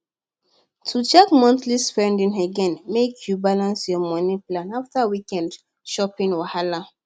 to check monthly spending again make you balance your money plan after weekend shopping wahala